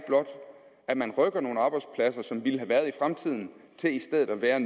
at man rykker nogle arbejdspladser som ville have været i fremtiden til i stedet at være